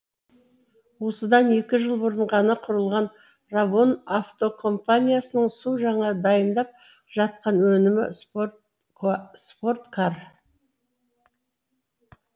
осыдан екі жыл бұрын ғана құрылған равон автокомпаниясының су жаңа дайындап жатқан өнімі спорткар